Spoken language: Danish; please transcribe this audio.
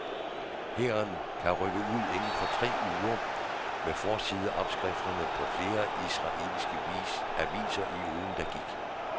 Hæren kan rykke ud inden for tre uger hed forsideoverskrifterne på flere af de israelske aviser i ugen der gik.